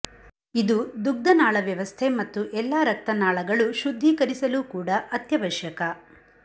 ಇದು ದುಗ್ಧನಾಳ ವ್ಯವಸ್ಥೆ ಮತ್ತು ಎಲ್ಲಾ ರಕ್ತನಾಳಗಳು ಶುದ್ಧೀಕರಿಸಲು ಕೂಡ ಅತ್ಯವಶ್ಯಕ